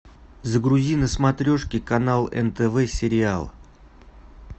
загрузи на смотрешке канал нтв сериал